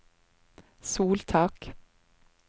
soltak